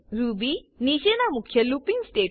Ruby નીચેના મુખ્ય looping statement છે